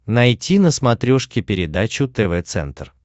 найти на смотрешке передачу тв центр